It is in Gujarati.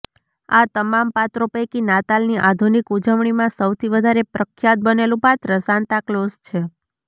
આ તમામ પાત્રો પૈકી નાતાલની આધુનિક ઉજવણીમાં સૌથી વધારે પ્રખ્યાત બનેલું પાત્ર સાન્તાક્લોઝ છે